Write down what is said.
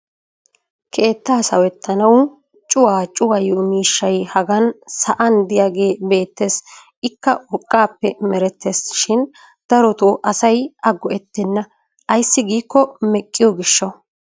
keettaa sawetttanawu cuwaa cuwayiyo miishshay hagan sa'an diyaagee beetees ikka urqaappe merettees shin darotoo asay a go'etenna ayssi giikko meqqiyo gishawu